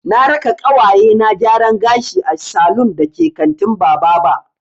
Na raka ƙawaye na gyaran gashi a salun da ke kantin Bababa.